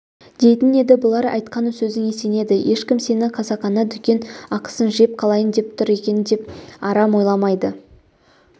дейтін еді бұлар айтқан сөзіңе сенеді ешкім сені қасақана дүкен ақысын жеп қалайын деп тұр екен деп арам ойламайды